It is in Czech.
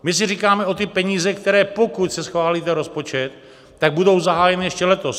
My si říkáme o ty peníze, které pokud se schválí rozpočet, tak budou zahájeny ještě letos.